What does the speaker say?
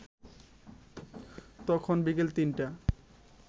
তখন বিকেল ৩টা।